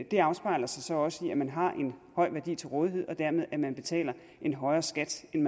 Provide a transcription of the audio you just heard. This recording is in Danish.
det afspejler sig så også i at man har en høj værdi til rådighed og dermed betaler en højere skat end